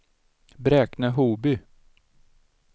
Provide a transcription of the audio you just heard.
Bräkne-Hoby